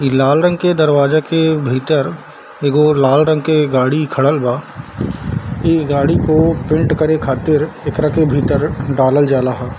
इ लाल रंग के दरवाजा के भीतर एगो लाल रंग के गाड़ी खड़ल बा | इ गाड़ी को पेंट करे खातिर एकरा के भीतर डालल जाला हो |